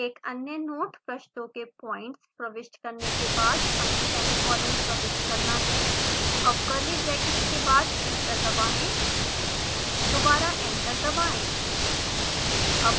एक अन्य नोट: पृष्ठों के पॉइंट्स प्रविष्ट करने के बाद हमें सेमीकोलन प्रविष्ट करना है अब कर्ली ब्रैकेट्स के बाद एंटर दबाएं दोबारा एंटर दबाएं